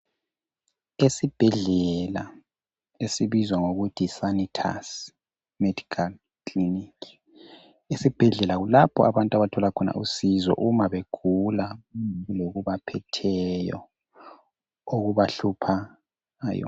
Isibhedlela esibizwa ngokuthi yiSanitus Medical Clinic . Esibhedlela kulapho abantu abathola khona usizo uma begula lokubaphetheyo okubahlupha .